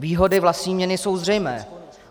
Výhody vlastní měny jsou zřejmé.